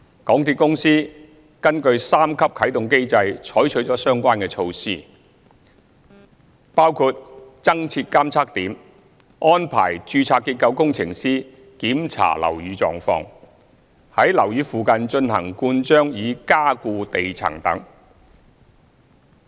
港鐵公司根據三級啟動機制採取了相關措施，包括增設監測點、安排註冊結構工程師檢查樓宇狀況、於樓宇附近進行灌漿以加固地層等。